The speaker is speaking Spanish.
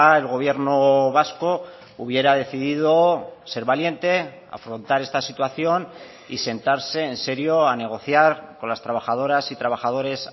el gobierno vasco hubiera decidido ser valiente afrontar esta situación y sentarse en serio a negociar con las trabajadoras y trabajadores